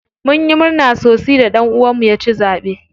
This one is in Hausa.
Munyi murna sosi da ɗan uwan mu ya ci zaɓe.